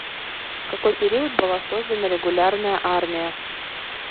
в какой период была создана регулярная армия